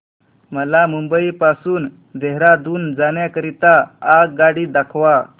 मला मुंबई पासून देहारादून जाण्या करीता आगगाडी दाखवा